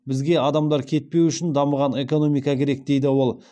бізге адамдар кетпеуі үшін дамыған экономика керек дейді ол